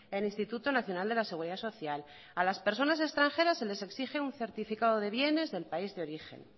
el instituto nacional de la seguridad social a las personas extranjeras se les exige un certificado de bienes del país de origen